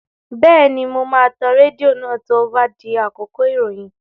Bẹ́ẹ̀ni, mo máa tan rédíò náà tí ó bá di àkókò ìròyìn